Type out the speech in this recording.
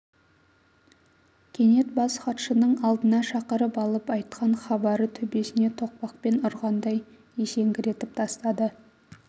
кенет бас хатшының алдына шақырып алып айтқан хабары төбесіне тоқпақпен ұрғандай есеңгіретіп тастады